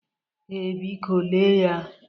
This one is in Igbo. Ee, biko lee ya.